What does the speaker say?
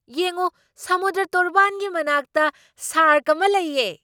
ꯌꯦꯡꯎ! ꯁꯃꯨꯗ꯭ꯔ ꯇꯣꯔꯕꯥꯟꯒꯤ ꯃꯅꯥꯛꯇ ꯁꯥꯔꯛ ꯑꯃ ꯂꯩꯌꯦ!